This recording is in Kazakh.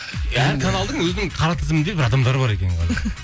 әр каналдың өзінің қара тізімінде бір адамдар бар екен